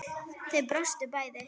Þau brostu bæði.